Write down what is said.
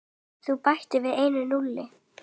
Þú bætir við einu núlli.